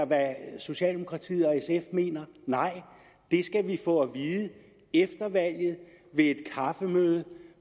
hvad socialdemokratiet og sf mener nej det skal vi få at vide efter valget ved et kaffemøde